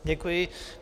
Děkuji.